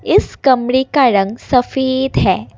इस कमरे का रंग सफेद है।